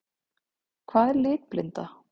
Hvað er litblinda?